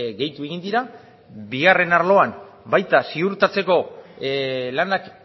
gehitu egin dira bigarren arloan baita ziurtatzeko lanak